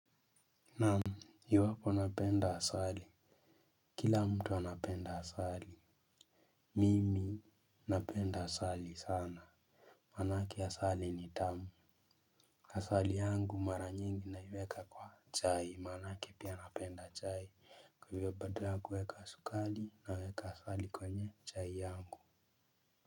Naam iwapo napenda asali. Kila mtu anapenda asali. Mimi napenda asali sana. Maanake asali ni tamu. Asali yangu mara nyingi naiweka kwa chai maanake pia napenda chai kwa hivyo badala ya kuweka sukari naweka asali kwenye chai yangu.